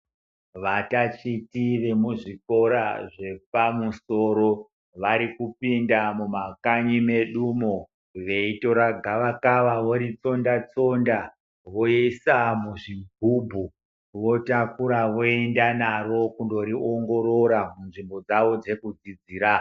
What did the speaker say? Vatatichi vemuzvikora zvepamusoro vari kupinda mumakanyi medumo veitora gava kava voritsonda tsonda voisa muzvigubhu votakura kuenda naro kundoriongorora munzvimbo dzawo dzekudzidzira.